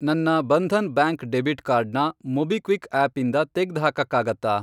ನನ್ನ Bandhan bank debit card ನ MobiKwik ಆಪಿಂದ ತೆಗ್ದ್ಹಾಕಕ್ಕಾಗತ್ತಾ?